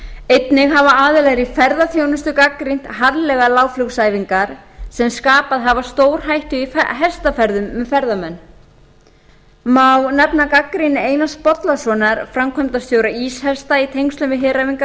einnig hafa aðilar í ferðaþjónustu gagnrýnt harðlega lágflugsæfingar sem skapað hafa stóræfingar í hestaferðum um ferðamenn má nefna gagnrýni einars bollasonar framkvæmdastjóra íshesta í tengslum við heræfingar nokkurra